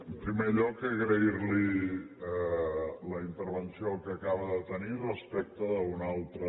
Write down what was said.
en primer lloc agrair·li la intervenció que acaba de tenir res·pecte d’una altra